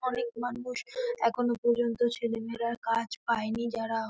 অনেক মানুষ এখনো পর্যন্ত ছেলে মেয়েরা কাজ পায়নি যারা --